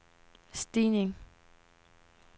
stigning